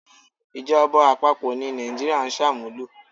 Ìjọba àpapọ̀ ni Nàìjíríà ń sàmúlò.